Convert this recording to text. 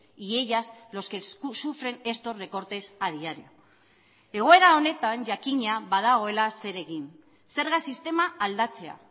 y ellas los que sufren estos recortes a diario egoera honetan jakina badagoela zer egin zerga sistema aldatzea